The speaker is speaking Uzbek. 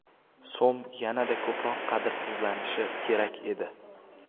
So‘m yanada ko‘proq qadrsizlanishi kerak edi!